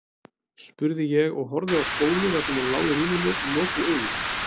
spurði ég, og horfði á Sólu þar sem hún lá í rúminu með lokuð augu.